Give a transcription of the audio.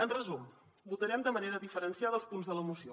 en resum votarem de manera diferenciada els punts de la moció